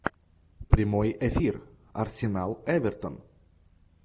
прямой эфир арсенал эвертон